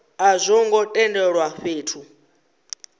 a zwo ngo tendelwa fhethu